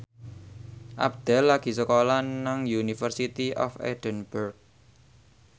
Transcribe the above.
Abdel lagi sekolah nang University of Edinburgh